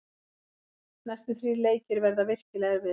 Næstu þrír leikir verða virkilega erfiðir.